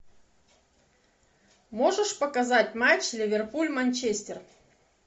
можешь показать матч ливерпуль манчестер